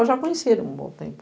Eu já conhecia ele há um bom tempo.